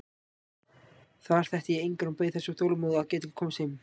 Þar þekkti ég engan og beið þess þolinmóð að geta komist heim.